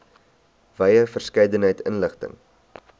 wye verskeidenheid inligting